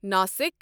Nashik